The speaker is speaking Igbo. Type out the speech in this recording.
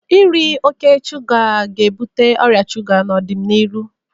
Iri oke shuga ga-ebute ọrịa shuga n'ọdịnihu